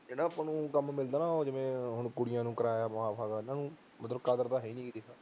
ਜਿਹੜਾ ਆਪਾਂ ਨੂੰ ਕੰਮ ਮਿਲਦਾ ਜਿਵੇਂ ਕੁੜੀਆਂ ਨੂੰ ਕਿਰਾਇਆ ਮਾਫ ਐ ਕਦਰ ਤਾਂ ਹੈ ਹੀ ਨਹੀਂ